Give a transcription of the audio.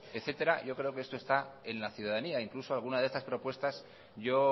etcétera yo creo que esto está en la ciudadanía incluso alguna de estas propuestas yo